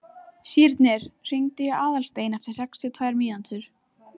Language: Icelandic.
Sírnir, hringdu í Aðalstein eftir sextíu og tvær mínútur.